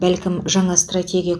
бәлкім жаңа стратегия